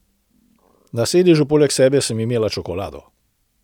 Na sedežu poleg sebe sem imela čokolado.